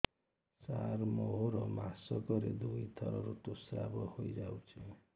ସାର ମୋର ମାସକରେ ଦୁଇଥର ଋତୁସ୍ରାବ ହୋଇଯାଉଛି